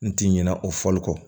N ti ɲinɛ o fɔli kɔ